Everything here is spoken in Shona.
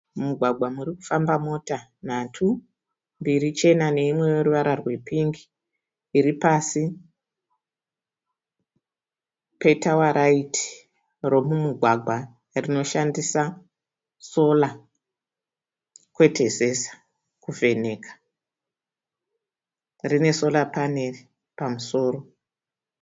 Mugwagwa murikufamba mota nhatu mbiri chena neimwe yeruvara rwepingi iripasi petawaraiti remumugwagwa rinoshandisa sora kwete zesa kuvheneka, rine sora panero pamusoro.